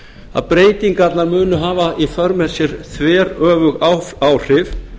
að breytingarnar munu hafa í för með sér þveröfug áhrif